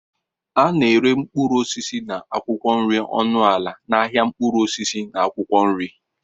A na-ere mkpụrụ osisi na akwụkwọ nri ọnụ ala n'ahịa mkpụrụ osisi na akwụkwọ nri.